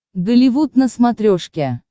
голливуд на смотрешке